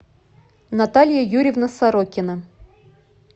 наталья юрьевна сорокина